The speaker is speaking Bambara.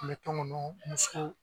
N bɛ tɔngɔnɔ muso.